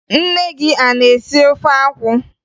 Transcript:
Nne gị a na-esi ofe akwụ?